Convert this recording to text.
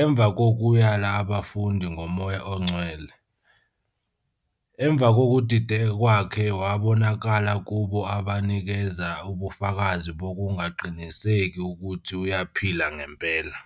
emva kokuyala abafundi ngoMoya oNgcwele. Emva kokudideka kwakhe wabonakala kubo abazinikeza ubufakazi bokungaqiniseki ukuthi uyaphila ngempela.